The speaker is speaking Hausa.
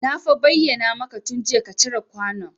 Na fa bayyana maka tun jiya ka cire kwanon